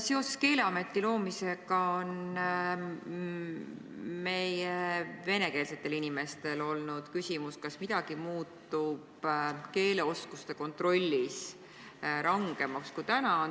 Seoses Keeleameti loomisega on meie venekeelsetel inimestel olnud küsimus, kas keeleoskuste kontroll muutub rangemaks, kui see praegu on.